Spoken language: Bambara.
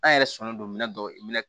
An yɛrɛ sɔnnen don minɛn dɔw